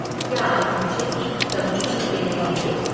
क्या आप मुझे भी कभी नहीं खेलने देंगे?